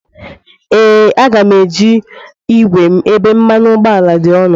Ee, Aga m eji igwe m ebe mmanụ ụgbọala dị ọnụ.